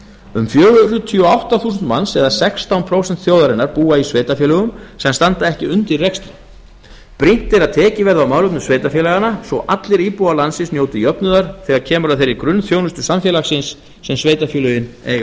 um fjörutíu og átta þúsund manns eða sextán prósent þjóðarinnar búa í sveitarfélögum sem standa ekki undir rekstri brýnt er að tekið verði á málefnum sveitarfélaganna svo allir íbúar landsins njóti jöfnuðar þegar kemur að þeirri grunnþjónustu samfélagsins sem sveitarfélögin eiga að